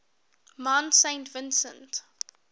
mount saint vincent